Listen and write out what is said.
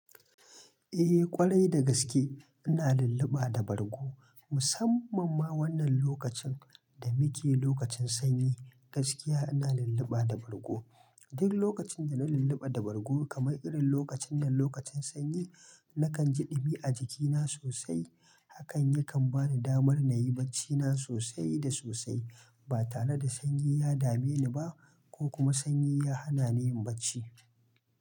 Eh ƙwarai da gaske ina lulluɓa da bargo. Musamman ma wannan lokacin da muke lokacin sanyi gaskiya ina lulluɓa da bargo. Duk lokacin da na lulluɓa da bargo kamar irin lokacin nan lokacin sanyi nakan ji ɗumi a jikina sosai hakan yakan bani damar na yi bacci na sosai da sosai ba tare da sanyi ya dame ni ba ko kuma sanyi ya hana ni yin bacci.